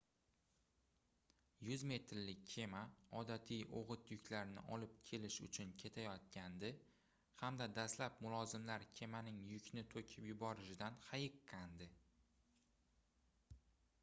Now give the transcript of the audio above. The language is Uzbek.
100 metrlik kema odatiy oʻgʻit yuklarni olib kelish uchun ketayotgandi hamda dastlab mulozimlar kemaning yukni toʻkib yuborishidan hayiqqandi